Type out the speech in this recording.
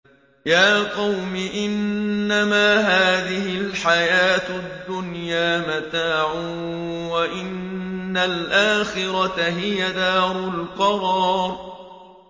يَا قَوْمِ إِنَّمَا هَٰذِهِ الْحَيَاةُ الدُّنْيَا مَتَاعٌ وَإِنَّ الْآخِرَةَ هِيَ دَارُ الْقَرَارِ